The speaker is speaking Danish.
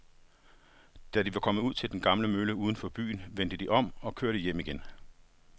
Da de var kommet ud til den gamle mølle uden for byen, vendte de om og kørte hjem igen.